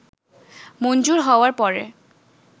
মঞ্জুর হওয়ার পরে